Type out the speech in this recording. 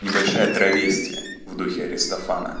небольшая травестия в духе аристофана